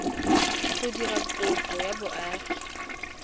go dira kopo ya boagi